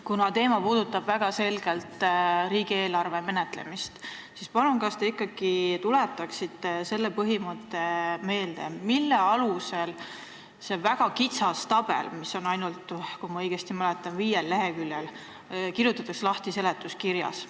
Kuna teema puudutab väga selgelt riigieelarve menetlemist, siis kas te palun ikkagi tuletaksite meelde selle põhimõtte, mille alusel see väga kitsas tabel, mis, kui ma õigesti mäletan, on ainult viiel leheküljel, kirjutatakse lahti seletuskirjas.